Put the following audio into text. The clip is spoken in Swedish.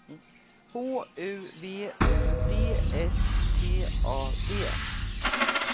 H U V U D S T A D